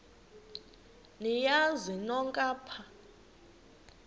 niyazi nonk apha